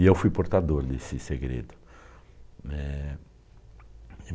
E eu fui portador desse segredo. Eh...